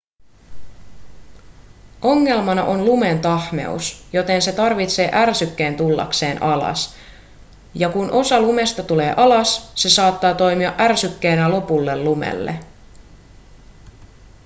ongelmana on lumen tahmeus joten se tarvitsee ärsykkeen tullakseen alas ja kun osa lumesta tulee alas se saattaa toimia ärsykkeenä lopulle lumelle